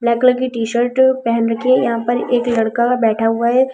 Black colour की T-shirt पहन रखी है यहां पर एक लड़का बैठा हुआ है।